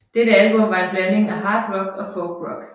Dette album var en blanding af hard rock og folk rock